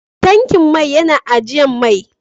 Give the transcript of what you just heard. Tankin mai ya na ajian man.